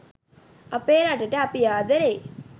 අපේ රටට අපි ආදරෙයි